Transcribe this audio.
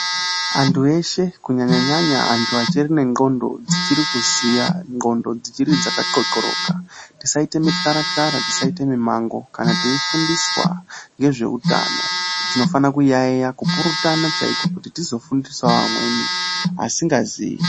Antu eshe kunyanya -nyanya antu achiri nenqondo dzichiri kuziva ,nqondo dzaka qoqoroka .Tisaite mitaratara, tisaite mimango. Kana tifundiswa ngezvehutano tinofanira kuyayeya kuti tizofundisa amweni asingaziyi.